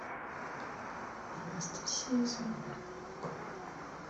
анастасия заворотнюк